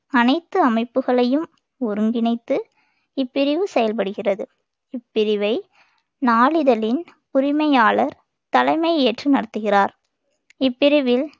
அனைத்து அமைப்புகளையும் ஒருங்கிணைத்து இப்பிரிவு செயல்படுகிறது இப்பிரிவை நாளிதழின் உரிமையாளர் தலைமை ஏற்று நடத்துகிறார் இப்பிரிவில்